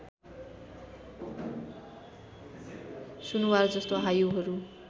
सुनुवार जस्तो हायुहरू